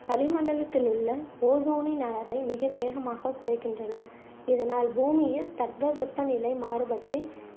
வளிமண்டலத்தில் உள்ள ஓசோனின் அளவை மிக வேகமாக குறைக்கின்றன இதனால் பூமியில் தட்பவெப்ப நிலை மாறுபட்டு